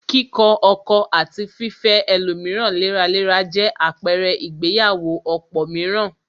Kíkọ ọkọ̀ àti fifẹ́ ẹlòmíràn léraléra jẹ àpẹrẹ ìgbéyàwó ọ̀pọ̀ mìíràn